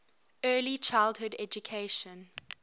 early childhood education